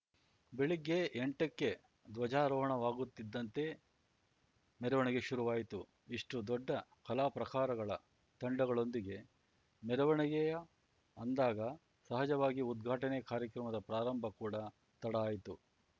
ಬೆಳಿಗ್ಗೆ ಎಂಟಕ್ಕೆ ಧ್ವಜಾರೋಹಣವಾಗುತ್ತಿದ್ದಂತೆ ಮೆರವಣಿಗೆ ಶುರುವಾಯಿತು ಇಷ್ಟುದೊಡ್ಡ ಕಲಾಪ್ರಕಾರಗಳ ತಂಡಗಳೊಂದಿಗೆ ಮೆರವಣಿಗೆಯ ಅಂದಾಗ ಸಹಜವಾಗಿ ಉದ್ಘಾಟನೆ ಕಾರ್ಯಕ್ರಮದ ಪ್ರಾರಂಭ ಕೂಡ ತಡ ಆಯ್ತು